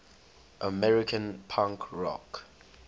american punk rock